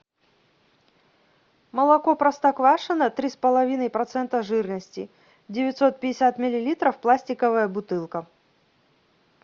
молоко простоквашино три с половиной процента жирности девятьсот пятьдесят миллилитров пластиковая бутылка